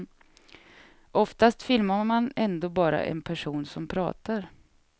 Oftast filmar man ändå bara en person som pratar.